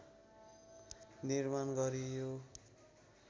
निर्माण गरियो